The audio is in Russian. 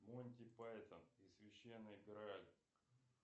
монти пайтон и священный грааль